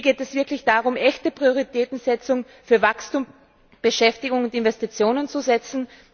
Hier geht es wirklich darum, echte Prioritäten für Wachstum, Beschäftigung und Investitionen zu setzen.